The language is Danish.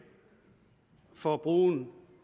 for brugen